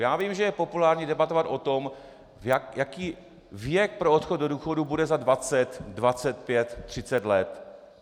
Já vím, že je populární debatovat o tom, jaký věk pro odchod do důchodu bude za 20, 25, 30 let.